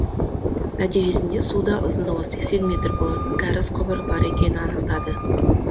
нәтижесінде суда ұзындығы сексен метр болатын кәріз құбыры бар екенін анықтады